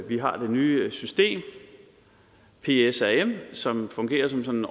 vi har det nye system psrm som fungerer som sådan